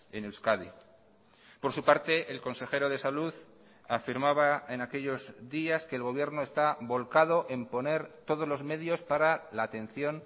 en euskadi por su parte el consejero de salud afirmaba en aquellos días que el gobierno está volcado en poner todos los medios para la atención